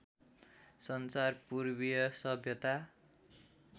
संसार पूर्वीय सभ्यता